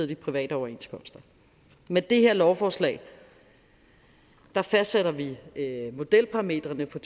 de private overenskomster med det her lovforslag fastsætter vi modelparametrene for